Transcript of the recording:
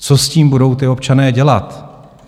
Co s tím budou ti občané dělat?